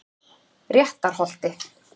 Réttarholti